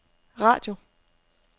radio